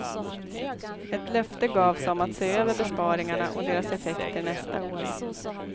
Ett löfte gavs om att se över besparingarna och deras effekter nästa år.